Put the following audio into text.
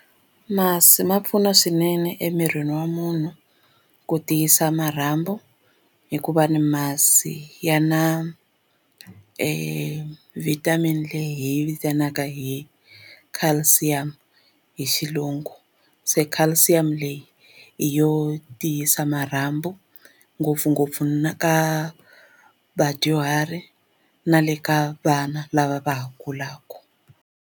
Masi ma pfuna swinene emirini wa munhu ku tiyisa marhambu hikuva ni masi ya na e vitamin leyi vitanaka hi calcium hi xilungu se calcium leyi hi yo tiyisa marhambu ngopfungopfu na ka vadyuhari na le ka vana lava va ha kulaka.